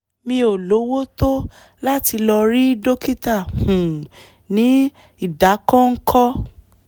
mi ò lówó tó láti lọ rí dókítà um ní ìdákọ́ńkọ́